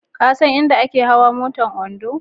Ka san inda ake hawa motar Ondo?